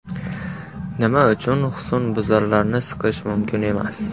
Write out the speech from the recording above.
Nima uchun husnbuzarlarni siqish mumkin emas?.